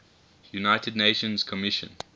united nations commission